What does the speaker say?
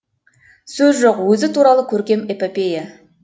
сөз жоқ өзі туралы көркем эпопея